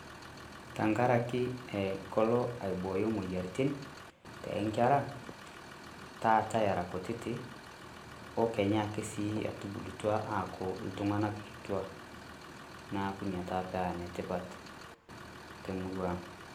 Tenkariki kolo aibooyo imoyiaritin toonkera, taata era kutiti o kenya ake sii etubulutua aaku iltung'ana kitua, neaku ina taa paa enetipat temurua ang'.